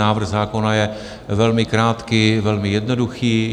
Návrh zákona je velmi krátký, velmi jednoduchý.